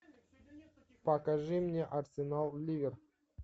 покажи мне арсенал ливер